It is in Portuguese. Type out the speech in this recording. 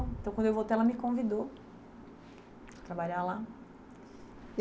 Então, quando eu voltei, ela me convidou para trabalhar lá.